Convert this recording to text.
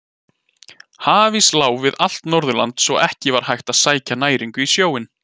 Hafís lá við allt Norðurland svo að ekki var hægt að sækja næringu í sjóinn.